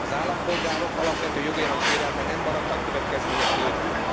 Az állampolgárok alapvető jogainak sérelme nem maradhat következmények nélkül.